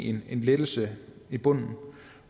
en lettelse i bunden